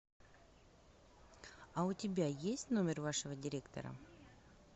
а у тебя есть номер вашего директора